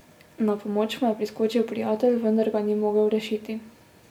Na pomoč mu je priskočil prijatelj, vendar ga ni mogel rešiti.